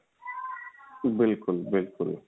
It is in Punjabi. ਬਿਲਕੁਲ ਬਿਲਕੁਲ